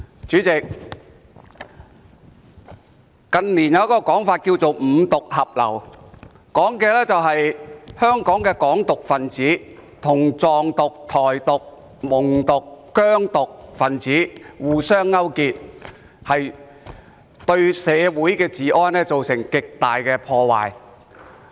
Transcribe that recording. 主席，近年有一種說法叫"五獨合流"，所指的是香港的"港獨"分子跟"藏獨"、"台獨"、"蒙獨"和"疆獨"分子互相勾結，對社會治安造成極大破壞。